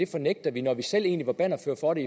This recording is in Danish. fornægter vi når vi selv egentlig var bannerførere for det